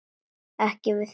Ekki við þig.